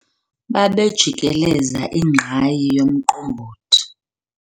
Babejikelezisa ingqayi yomqombothi.